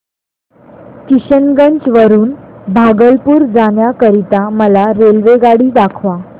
किशनगंज वरून भागलपुर जाण्या करीता मला रेल्वेगाडी दाखवा